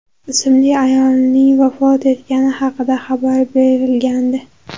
ismli ayolning vafot etgani haqida xabar berilgandi.